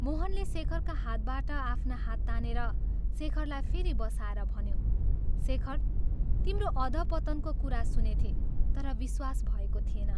मोहनले शेखरका हातबाट आफ्ना हात तानेर शेखरलाई फेरि बसाएर भन्यो, " शेखर तिम्रो अधपतनको कुरा सुनेथें, तर विश्वास भएको थिएन।